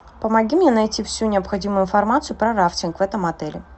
помоги мне найти всю необходимую информацию про рафтинг в этом отеле